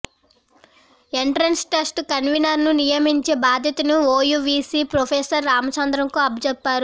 entrance test కన్వీనర్ను నియమించే బాధ్యతను ఓయూ వీసీ ప్రొఫెసర్ రామచంద్రంకు అప్పగించారు